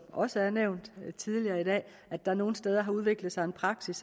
også er nævnt tidligere i dag at der nogle steder har udviklet sig en praksis